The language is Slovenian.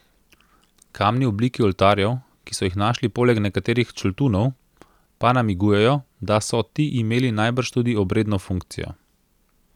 Kamni v obliki oltarjev, ki so jih našli poleg nekaterih čultunov, pa namigujejo, da so ti imeli najbrž tudi obredno funkcijo.